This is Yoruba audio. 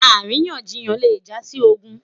àríyànjiyàn le ja si ogun